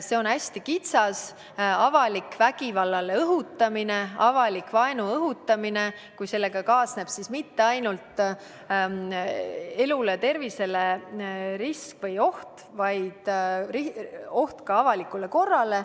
See puudutab hästi kitsast – avalikku vägivallale õhutamist, avalikku vaenu õhutamist, millega ei kaasneb mitte ainult oht elule ja tervisele, vaid ka oht avalikule korrale.